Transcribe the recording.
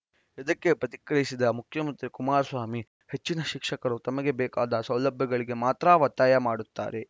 ಇದಕ್ಕೆ ಪ್ರತಿಕ್ರಿಯಿಸಿದ ಮುಖ್ಯಮಂತ್ರಿ ಕುಮಾರಸ್ವಾಮಿ ಹೆಚ್ಚಿನ ಶಿಕ್ಷಕರು ತಮಗೆ ಬೇಕಾದ ಸೌಲಭ್ಯಗಳಿಗೆ ಮಾತ್ರ ಒತ್ತಾಯ ಮಾಡುತ್ತಾರೆ